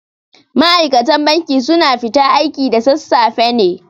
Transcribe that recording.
Ma'aikatan banki su na fita aiki da sassafe ne